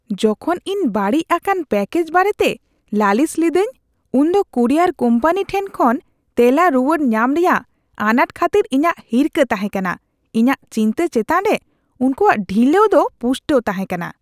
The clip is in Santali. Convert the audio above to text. ᱡᱚᱠᱷᱚᱱ ᱤᱧ ᱵᱟᱹᱲᱤᱡ ᱟᱠᱟᱱ ᱯᱮᱠᱮᱡ ᱵᱟᱨᱮᱛᱮ ᱞᱟᱹᱞᱤᱥ ᱞᱤᱫᱟᱹᱧ ᱩᱱᱫᱚ ᱠᱩᱨᱤᱭᱟᱨ ᱠᱳᱢᱯᱟᱱᱤ ᱴᱷᱮᱱ ᱠᱷᱚᱱ ᱛᱮᱞᱟ ᱨᱩᱣᱟᱹᱲ ᱧᱟᱢ ᱨᱮᱭᱟᱜ ᱟᱱᱟᱴ ᱠᱷᱟᱹᱛᱤᱨ ᱤᱧᱟᱹᱜ ᱦᱤᱨᱠᱟᱹ ᱛᱟᱦᱮᱸ ᱠᱟᱱᱟ ᱾ ᱤᱧᱟᱹᱜ ᱪᱤᱱᱛᱟᱹ ᱪᱮᱛᱟᱱ ᱨᱮ ᱩᱱᱠᱩᱣᱟᱜ ᱰᱷᱤᱞᱟᱹᱣ ᱫᱚ ᱯᱩᱥᱴᱟᱹᱣ ᱛᱟᱦᱮᱸ ᱠᱟᱱᱟ ᱾